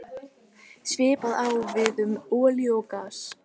Svipað á við um olíu og gas.